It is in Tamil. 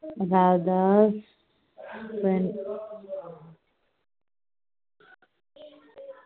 radhas friend